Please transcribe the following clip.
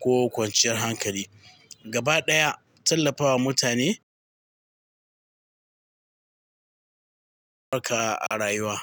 ko kwanciyar hankali. Gaba ɗaya, tallafawa mutane haka a rayuwa.